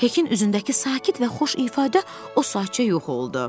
Hekin üzündəki sakit və xoş ifadə o saatca yox oldu.